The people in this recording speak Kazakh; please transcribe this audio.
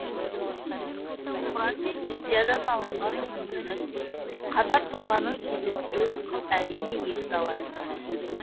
құран мен библиядан алынған үзіндінің қатар тұрғанын кезіктіру әрине екіталай